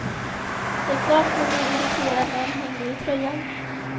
Det är klart man blir irriterad när de hänger i tröjan.